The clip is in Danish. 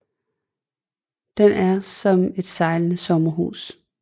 Den er som et sejlende sommerhus